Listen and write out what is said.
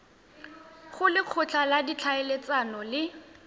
go lekgotla la ditlhaeletsano le